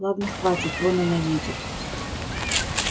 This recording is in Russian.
ладно хватит вон она едет